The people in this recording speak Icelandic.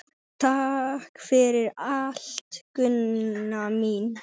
Takk fyrir allt, Gunna mín.